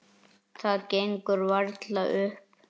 Það gengur varla upp.